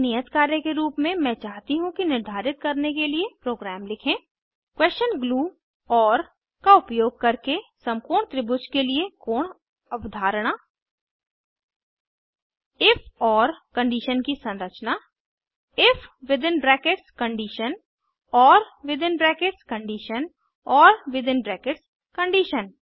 एक नियत कार्य के रूप में मैं चाहती हूँ कि निर्धारित करने के लिए प्रोग्राम लिखें क्वेशन ग्लू ओर का उपयोग करके समकोण त्रिभुज के लिए कोण अवधारणा इफ ओर कंडिशन की संरचना if within brackets condition or within brackets condition or within brackets condition